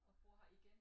Og bor her igen